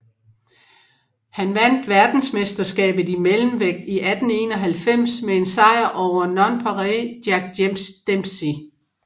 Han vandt verdensmesterskabet i mellemvægt i 1891 med en sejr over Nonpareil Jack Dempsey